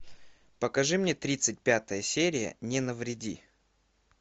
покажи мне тридцать пятая серия не навреди